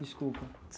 Desculpa.